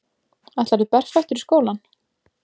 Ætlarðu berfættur í skólann?